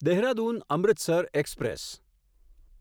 Dehradun Amritsar express